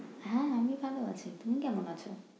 হুম আমি ভালো আছি। তুমি কেমন আছো?